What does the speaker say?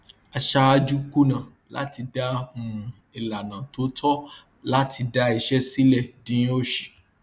aṣáájú kùnà láti dá um ìlànà tó tọ láti dá iṣẹ sílẹ dín òṣì